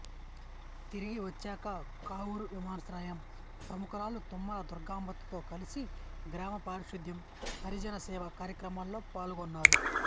తిరిగి వచ్చాక కావురువినయాశ్రమం ప్రముఖురాలు తుమ్మల దుర్గాంబతో కలసి గ్రామ పారిశుద్ధ్యం హరిజన సేవా కార్యక్రమాల్లో పాల్గొన్నారు